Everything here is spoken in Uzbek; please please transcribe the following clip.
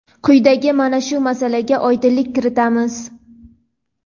Quyidagi mana shu masalaga oydinlik kiritamiz.